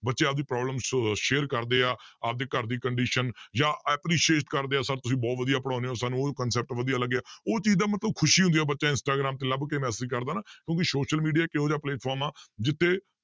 ਬੱਚੇ ਆਪਦੀ problem ਸ਼~ share ਕਰਦੇ ਆ, ਆਪਦੇ ਘਰਦੀ condition ਜਾਂ appreciate ਕਰਦੇ ਆ sir ਤੁਸੀਂ ਬਹੁਤ ਵਧੀਆ ਪੜ੍ਹਾਉਂਦੇ ਹੋ ਸਾਨੂੰ ਉਹ concept ਵਧੀਆ ਲੱਗਿਆ, ਉਹ ਚੀਜ਼ ਦਾ ਮਤਲਬ ਖ਼ੁਸ਼ੀ ਹੁੰਦੀ ਹੈ ਬੱਚy ਇੰਸਟਾਗ੍ਰਾਮ ਤੇ ਲੱਭ ਕੇ message ਕਰਦਾ ਨਾ ਕਿਉਂਕਿ social media ਇੱਕ ਇਹੋ ਜਿਹਾ platform ਆਂ ਜਿੱਥੇ